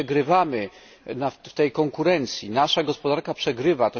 I my przegrywamy w tej konkurencji, nasza gospodarka przegrywa.